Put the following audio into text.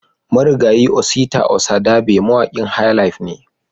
Marigayi Osita Osadabe mawaƙin "highlife" ne